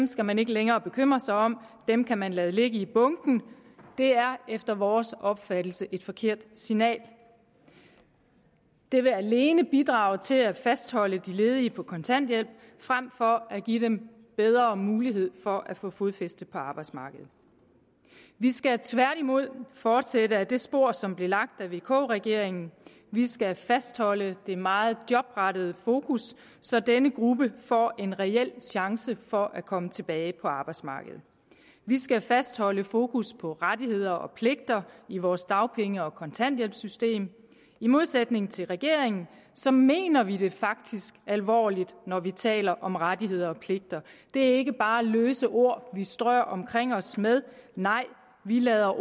skal man ikke længere bekymre sig om dem kan man lade ligge i bunken det er efter vores opfattelse et forkert signal det vil alene bidrage til at fastholde de ledige på kontanthjælp frem for at give dem bedre mulighed for at få fodfæste på arbejdsmarkedet vi skal tværtimod fortsætte ad det spor som blev lagt af vk regeringen vi skal fastholde det meget jobrettede fokus så denne gruppe får en reel chance for at komme tilbage på arbejdsmarkedet vi skal fastholde fokus på rettigheder og pligter i vores dagpenge og kontanthjælpssystem i modsætning til regeringen så mener vi det faktisk alvorligt når vi taler om rettigheder og pligter det er ikke bare løse ord vi strør omkring os med nej vi lader